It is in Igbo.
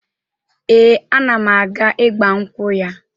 Ee, ana m aga ịgbankwụ ya